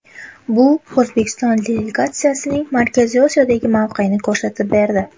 Bu O‘zbekiston delegatsiyasining Markaziy Osiyodagi mavqesini ko‘rsatib berdi.